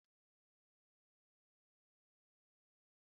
Olee etu gésha sị atọ?